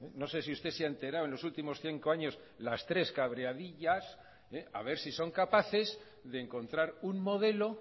no sé si usted se ha enterado en los últimos cinco años las tres cabreadillas a ver si son capaces de encontrar un modelo